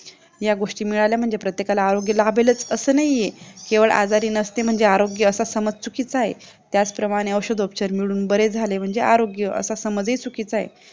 या गोष्टी मिळाल्या म्हणजे प्रत्येकला आरोग्य लाभेलच असं नाहीये किंवा आजारी नसेल म्हणजे आरोग्य असा समजचुकीचा आहे त्याचप्रमाणे औषधोपचार मिळवून बरे झाले म्हणजे आरोग्य असा समज हि चुकीचा आहे